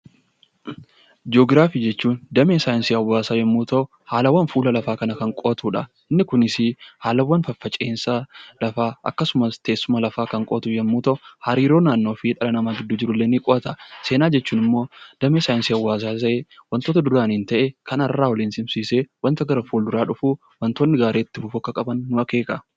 Jii'oogiraafii jechuun damee saayinsii hawaasaa yoo ta'u, haalawwan fuula lafaa kanaa kan qo'atudha. Kunis haalawwan faffaca'insa lafaa yoo ta'u hariiroo naannoo fi dhala namaa gidduu jirullee ni qo'ata. Seenaa jechuun immoo damee saayinsii hawaasaa ta'ee, wantoota duraan ta'e kan har'aa waliin simsiisee wantoonni gara fuulduraa dhufan gaarii Akka ta'an sirreessa.